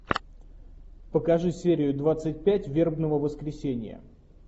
покажи серию двадцать пять вербного воскресенья